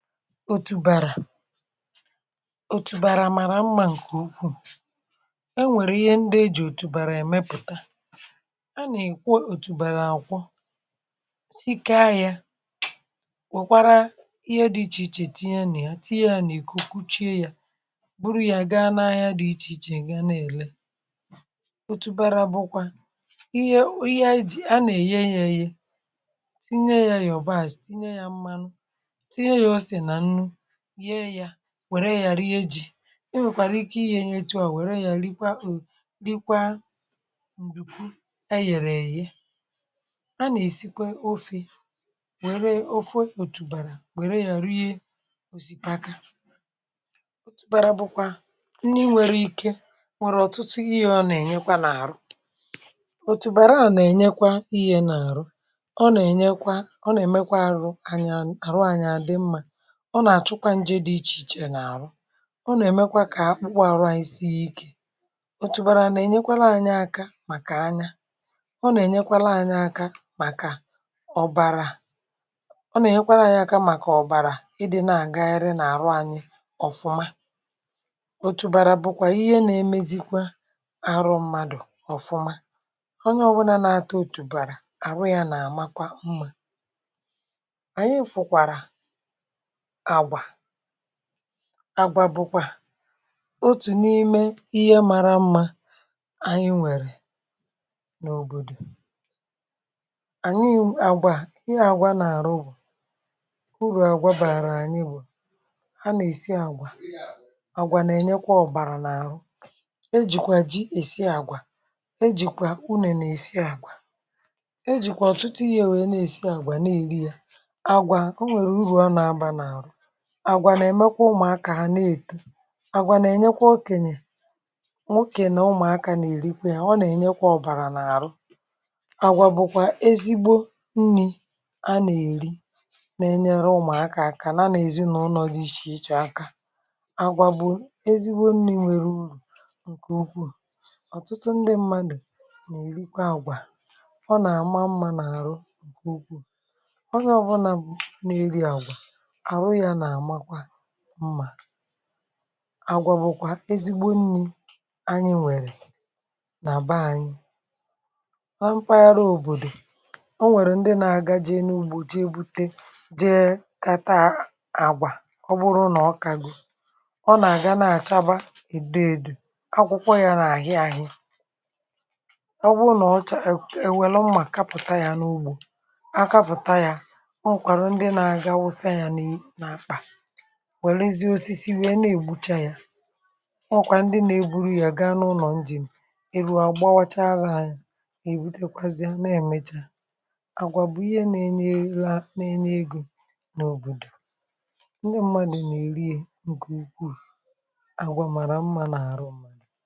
Otubara, otubara mara mma nke ukwuu. E nwere ihe ndị eji otubara emepụta. A na-ekwo otubara akwọ, sikaa ya, wokwara ihe dị iche iche tinye na ya, tinye ya na iko kụchie ya, buru ya gaa n'ahịa dị iche iche ga na-ere. Otubara bụkwa ihe a na-eye ya eye, tinye ya yabasị, tinye ya mmanụ, tinye ya ose na nnu, yee ya, were ya rie ji. E nwere ike iye ya otu a were ya rikwa nnuku eyere eye. A na-esikwa ofe, were ofe otubara were ya rie osikapa. Otubara bụkwa nri nwere ike, o nwere ọtụtụ ihe ọ na-enye na arụ. Otubara a na-enyekwa ihe na arụ, ọ na-enyekwa, ọ na-emekwa arụ, arụ anyị adị mma, ọ na-achụkwa nje dị iche iche na arụ. Ọ na-emekwa ka akpụkpọ arụ anyị sie ike. Otubara na-enyekwara anyị aka maka anya. Ọ na-enyekwara anyị aka maka ọbara. Ọ na-enyekwara anyị aka maka ọbara ị dị na-agagharị na arụ anyị ọfụma. Otubara bụkwa ihe na-emezikwa arụ mmadụ ọfụma. Onye ọbụna na-ata otubara, ahụ ya na-amakwa mma. Anyị fụkwara àgwà, àgwà bụkwa otu n'ihe mara mma anyị nwere n'obodo. Àgwà, ihe àgwà na-arụ bụ, uru àgwà bara anyị bụ, a na-esi àgwà, àgwà na-enyekwa ọbara n'arụ. E jikwa ji esi àgwà. E jikwa unene esi àgwà, e jikwa ọtụtụ ihe wee na-esi àgwà na-eri ya. Agwa, o nwere uru ọ na aba na arụ. Àgwà na-emekwa ụmụaka ha a na-eto. Àgwà na-enyekwa okenye, okenye na ụmụaka na erikwa ya, ọ na-enyekwa ọbara n'arụ. Àgwà bụ ezigbo nri a na-eri na-enyeru ụmụaka aka yana ezinaụlọ dị iche iche aka. Àgwà bụ ezigbo nri nweru uru nke ukwuu. Ọtụtụ ndị mmadụ na-erikwa àgwà. Ọ na-ama mma n'arụ nke ukwuu. Onye ọbụna na-eri àgwà arụ ya na-amakwa mma. Àgwà bụkwa ezigbo nri anyi nwere na beanyị. Na mpaghara obodo, o nwere ndị na-aga jee n'ugbo jee gbute, jee kata àgwà, ọ bụrụ na ọ kago, ọ na-aga na-achaba edo edo, akwụkwọ ya na-ahi ahi. Ọ bụrụ na ọ chaa, e weru mma kapụta ya n'ugbo, a kapụta ya, o nwekwaru ndị na-aga wụsa ya n'akpa, we rụzie osisi wee na-egbucha ya. O nwekwara ndị na-eburu ya gaa n'ulo injin, e rue, a gbawa chaa ya, ebute kwazie na-emecha. Àgwà bụ ihe na-enye ya, na-enye ego n'obodo, ndị mmadụ na-eri ya nke ukwuu. Àgwà mara mma n'arụ mmadụ.